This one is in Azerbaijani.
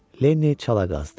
Lenni çala qazdı.